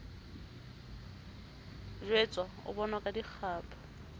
jwetswa o bonwa ka dikgapha